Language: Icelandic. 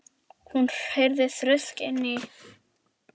Hún heyrði þrusk inni í